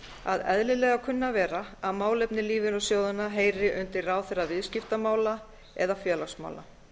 að eðlilega kunni að vera að málefni lífeyrissjóðanna heyri undir ráðherra viðskiptamála eða félagsmála